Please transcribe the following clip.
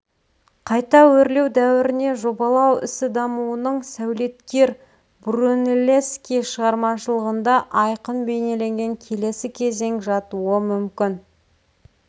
қайта өрлеу дәуіріне жобалау ісі дамуының сәулеткер брунеллески шығармашылығында айқын бейнеленген келесі кезең жатуы мүмкін